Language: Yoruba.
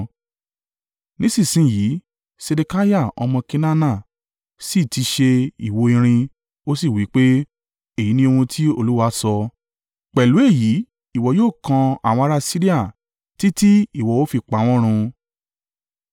Nísinsin yìí Sedekiah ọmọ Kenaana sì ti ṣe ìwo irin, ó sì wí pé, “Èyí ni ohun tí Olúwa sọ: ‘Pẹ̀lú èyí ìwọ yóò kan àwọn ará Siria títí ìwọ ó fi pa wọ́n run.’ ”